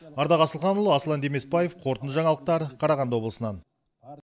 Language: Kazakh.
ардақ асылханұлы аслан демесбаев қорытынды жаңалықтар қарағанды облысынан